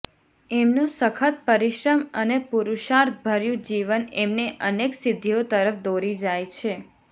એમનું સખત પરિશ્રમ અને પુરુષાર્થભર્યું જીવન એમને અનેક સિદ્ધિઓ તરફ દોરી જાય છે